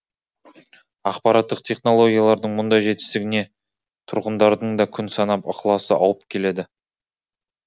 ақпараттық технологиялардың мұндай жетістігіне тұрғындардың да күн санап ықыласы ауып келеді